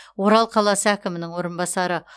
орал қаласы әкімінің орынбасары